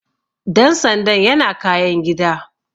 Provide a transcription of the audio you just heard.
Dan sandan yana kayan gida.